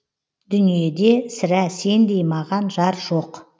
дүниеде сірә сендей маған жар жоқ